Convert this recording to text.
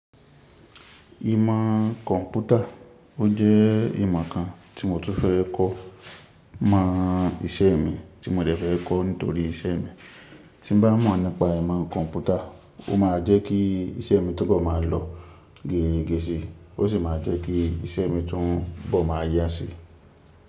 Ìmọ̀ kọ̀ǹpútà, ó jẹ́ ìmọ̀ kan tí mo tún fẹ́ kọ̀ mọ iṣẹ́ mi tí mo dẹ̀ fẹ́ kọ̀ nítorí iṣẹ́ mi. Tí mo bá mọ̀ nípa ìmọ̀ kọ̀ǹpútà, ó máa jẹ́ kí iṣẹ́ mi túbọ̀ máa lọ géèrín géẹ̀sí, ó sì máa jẹ́ kí iṣẹ́ mi tún bọ̀ máa yá sí.